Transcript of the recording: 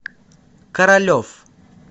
королев